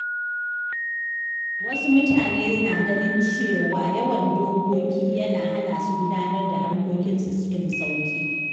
Wasu mutane na ganin cewa yawan dokoki yana hana su gudanar da harkokinsu cikin sauƙi.